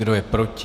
Kdo je proti?